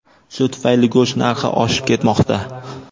Shu tufayli go‘sht narxi oshib ketmoqda.